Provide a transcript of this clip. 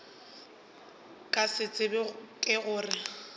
ke se tsebago ke gore